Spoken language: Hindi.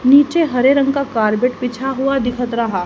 नीचे हरे रंग का कॉर्बेट बिछा हुआ दिखत राहा।